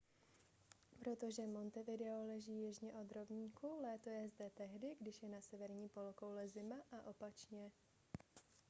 protože montevideo leží jižně od rovníku léto je zde tehdy když je na severní polokouli zima a opačně